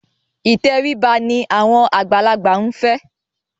Ìtẹríba ni àwọn àgbàlagbà ń fẹ́.